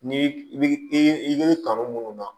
Ni i bi i kanu munnu na